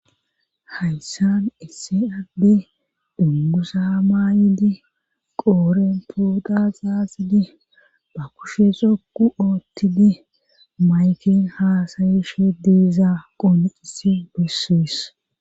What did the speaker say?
hayssan issi adey dunguza maayidi qooren pooxa xaxidi ba kushe xokku oottidi mayken haasayishe diizaa qoonicisi bessess